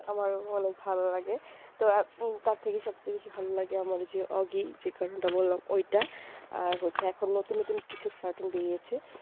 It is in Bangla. আমার অনেক ভালো লাগে তো আপু তার থেকে সব চেয়ে ভালো লাগে আমার ওই যে ওগি যে cartoon টা বললাম ঐটা আর হচ্ছে এখন নতুন নতুন কিচ্ছু cartoon বেরিয়েছে